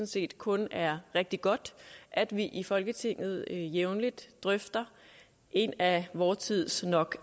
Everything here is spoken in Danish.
set kun det er rigtig godt at vi i folketinget jævnligt drøfter et af vor tids nok